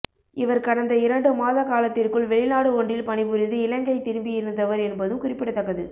இவர் கடந்த இரண்டு மாத காலத்திற்குள் வெளிநாடு ஒன்றில் பணி புரிந்து இலங்கை திரும்பி இருந்தவர் என்பதும் குறிப்பிடத்தக்கது